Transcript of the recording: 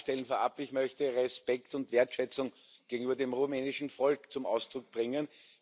Um das vorab klarzustellen Ich möchte Respekt und Wertschätzung gegenüber dem rumänischen Volk zum Ausdruck bringen.